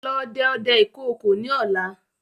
Lọ dẹ ọdẹ ìkookò ni ọ̀la!